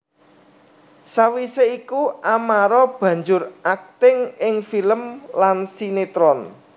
Sawisé iku Amara banjur akting ing film lan sinétron